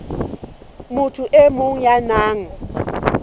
motho e mong ya nang